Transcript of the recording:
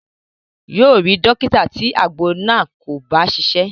Yóò rí dọ́kítà tí àgbo náà kò bá ṣiṣẹ́.